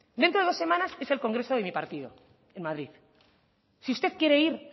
dentro de dos semanas es el congreso de mi partido en madrid si usted quiere ir